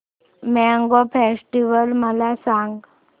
mango festival मला सांग